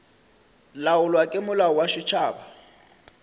laolwa ke molao wa setšhaba